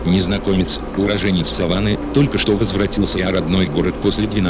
незнакомец уроженец саванны только что возвратился а родной город после